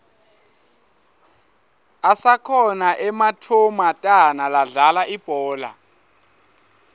asakhona ematfomatana ladlala ibhola